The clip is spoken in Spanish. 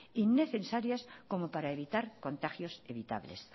innecesarias como para evitar contagios evitables